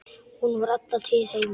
Hún var alla tíð heima.